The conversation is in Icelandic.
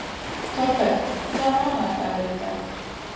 Thorberg, hvaða mánaðardagur er í dag?